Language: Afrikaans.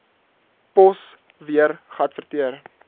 pos weer geadverteer